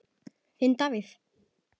Þinn Davíð.